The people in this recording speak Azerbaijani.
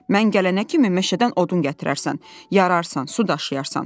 Mən gələnə kimi meşədən odun gətirərsən, yararsan, su daşıyarsan.